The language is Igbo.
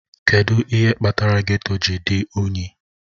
Kedụ ihe kpatara geto ji dị unyi?